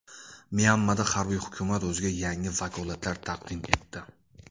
Myanmada harbiy hukumat o‘ziga yangi vakolatlar taqdim etdi.